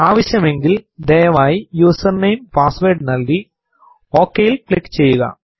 ആവശ്യമെങ്കിൽ ദയവായി user name password നൽകി OK ൽ ക്ലിക്ക് ചെയ്യുക